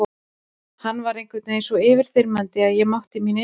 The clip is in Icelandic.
Hann var einhvern veginn svo yfirþyrmandi að ég mátti mín einskis.